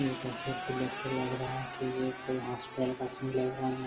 ये तस्वीर को देखे के लग रहा है की ये कोई हॉस्पिटल का सीन लग रहा है। यहाँ --